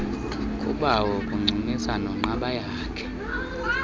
kubawo uncumisa nonqabayakhe